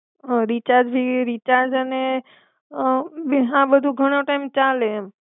હા રિચાર્જ બી રિચાર્જ અને અ હા બધું ઘણો ટાઈમ ચાલે એમ.